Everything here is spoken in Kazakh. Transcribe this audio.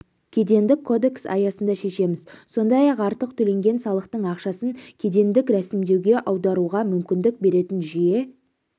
кедендік кодекс аясында шешеміз сондай-ақ артық төленген салықтың ақшасын кедендік рәсімдеуге аударуға мүмкіндік беретін жүйе